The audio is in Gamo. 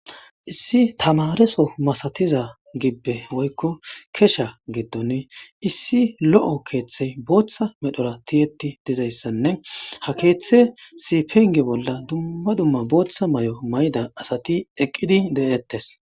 Issi tammare soo masatiza gibbe woyko kesha gidoni issi lo'o keethe bootha medhora tiyetti dizayssanne ha keetheysi penge bolla dumma dumma bootha mayo mayida asati eqqidi de'etes.